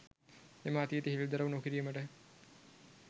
එම අතීතය හෙළිදරව් නොකිරීමට